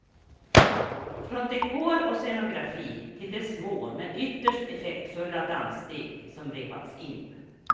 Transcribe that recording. Från dekor och scenografi till de små, men ytterst effektfulla danssteg som repats in.